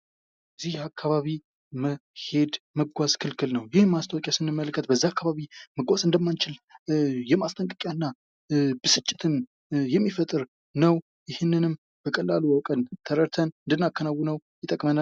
በዚህ አካባቢ መሄድ መጓዝ ክልክል ነው። ይህ ማስታወቂያ ስንመለከት በዚህ አካባቢ መጓዝ እንደማንችል የማስጠንቀቂያ እና ብስጭትን የሚፈጥር ነው። ይህንንም በቀላሉ አውቀን ተረድተን እንድናከናውነው ይጠቅመናል።